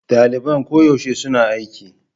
Daliban koyaushe suna kan aiki.